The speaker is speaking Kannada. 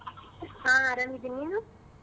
ಹಾ ಆರಾಮಿದ್ದೆ ನೀನು?